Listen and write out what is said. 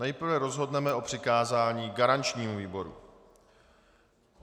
Nejprve rozhodneme o přikázání garančnímu výboru.